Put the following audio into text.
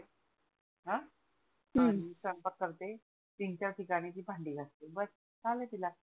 स्वयंपाक करते तीन चार ठिकाणी ती भांडी घासते बस झाल तिला